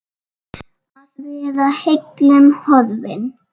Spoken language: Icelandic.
Að vera heillum horfin